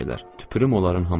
Tüpürüm onların hamısına.